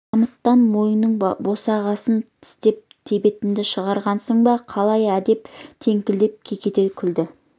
қамыттан мойының босағасын тістеп тебетінді шығарғансың ба қалай адеп кеңкілдеп кекете күлді